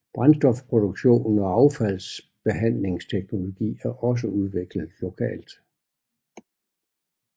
Brændstofproduktion og affaldsbehandlingsteknologi er også udviklet lokalt